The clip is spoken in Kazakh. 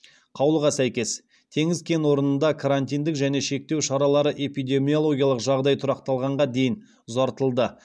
қаулыға сәйкес теңіз кен орнында карантиндік және шектеу шаралары эпидемиологиялық жағдай тұрақталғанға дейін ұзартылды